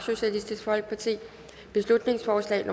beslutningsforslag